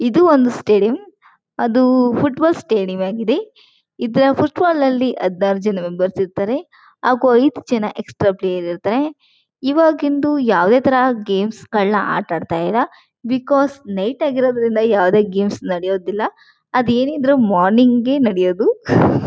ಇದು ಒಂದು ಸ್ಟೇಡಿಯಂ ಅದು ಫುಟ್ ಬಾಲ್ ಸ್ಟೇಡಿಯಂ ಆಗಿದೆ . ಇದರ ಫುಟ್ ಬಾಲ್ ನಲ್ಲಿ ಹದಿನಾರು ಜನ ಮೆಂಬರ್ಸ್ ಇರ್ತಾರೆ ಹಾಗು ಐದು ಜನ ಎಕ್ಸ್ಟ್ರಾ ಪ್ಲೇಯರ್ಸ್ ಇರ್ತಾರೆ ಇವಾಗಿಂದು ಯಾವುದೇ ತರ ಗೇಮ್ಸ್ ಗಳನ್ನ ಆಟ ಆಡ್ತಾ ಇಲ್ಲ. ಬಿಕಾಸ್ ನೈಟ್ ಆಗಿರೋದ್ರಿಂದ ಯಾವುದೇ ಗೇಮ್ಸ್ ನಡೆಯೋದಿಲ್ಲ ಅದು ಏನಿದ್ರೂ ಮಾರ್ನಿಂಗ್ ಏ ನಡೆಯೋದು .]